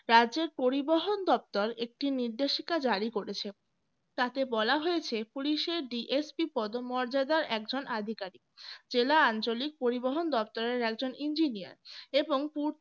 রাজ্যের পরিবহন দপ্তর একটি নির্দেশিকা জারি করেছে তাতে বলা হয়েছে police এর DSP পদমর্যাদার একজন অধিকারী জেলা আঞ্চলিক পরিবহন দপ্তরের একজন engineer পূর্ত